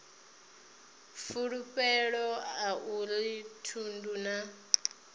fulufhelo a uri thundu na